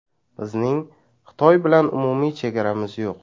Bizning Xitoy bilan umumiy chegaramiz yo‘q.